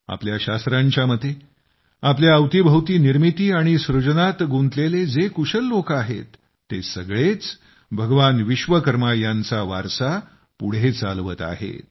आपल्या शास्त्रांच्या मते आपल्या अवतीभवती निर्मिती आणि सृजनात गुंतलेले जे कुशल लोक आहेत ते सगळेच भगवान विश्वकर्मा यांचा वारसा पुढे चालवत आहेत